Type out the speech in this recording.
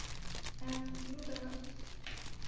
ну да